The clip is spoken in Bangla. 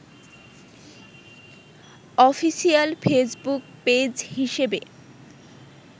অফিসিয়াল ফেসবুক পেজ হিসেবে